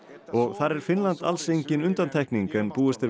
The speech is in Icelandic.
og þar er Finnland alls engin undantekning en búist er